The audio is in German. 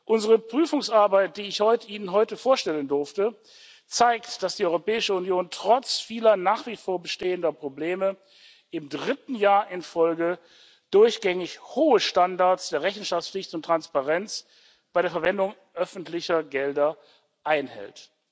Unsere Prüfungsarbeit, die ich Ihnen heute vorstellen durfte, zeigt, dass die Europäische Union trotz vieler nach wie vor bestehender Probleme im dritten Jahr in Folge durchgängig hohe Standards der Rechenschaftspflicht und Transparenz bei der Verwendung öffentlicher Gelder einhält.